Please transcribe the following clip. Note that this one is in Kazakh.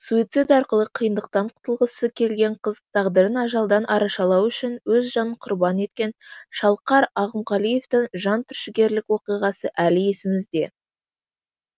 суицид арқылы қиындықтан құтылғысы келген қыз тағдырын ажалдан арашалау үшін өз жанын құрбан еткен шалқар ақымғалиевтің жан түршігерлік оқиғасы әлі есімізде